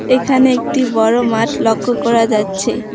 এখানে একটি বড় মাঠ লক্ষ করা যাচ্ছে।